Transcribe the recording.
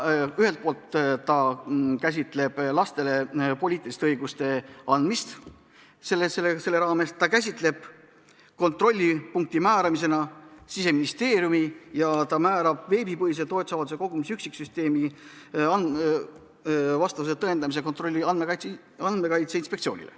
See käsitleb lastele poliitiliste õiguste andmist, määrab toetusavaldusi kontrollivaks asutuseks Siseministeeriumi ja paneb veebipõhise toetusavalduste kogumise üksiksüsteemi vastavuse tõendamise ülesanded Andmekaitse Inspektsioonile.